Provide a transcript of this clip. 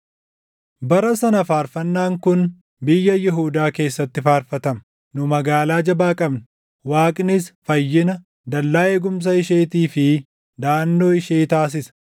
Bara sana faarfannaan kun biyya Yihuudaa keessatti faarfatama: Nu magaalaa jabaa qabna; Waaqnis fayyina, dallaa eegumsa isheetii fi daʼannoo ishee taasisa.